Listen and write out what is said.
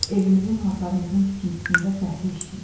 Evimizin, hasarımızın tikintisində fəhlə işləyib.